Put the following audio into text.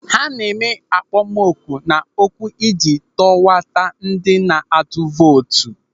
Ha na-eme akpọmoku na okwu ịji tọwata ndị na-atụ vootu.